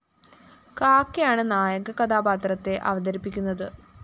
കാക്കയാണ് നായക കഥാപാത്രത്തെ അവതരിപ്പിക്കുന്നത്